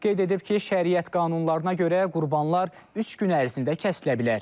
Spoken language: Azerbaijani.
Qeyd edib ki, şəriət qanunlarına görə qurbanlar üç gün ərzində kəsilə bilər.